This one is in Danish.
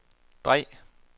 drej